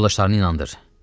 Yoldaşlarını inandır.